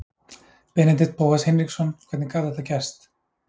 Benedikt Bóas Hinriksson Hvernig gat þetta gerst?